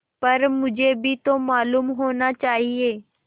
पर मुझे भी तो मालूम होना चाहिए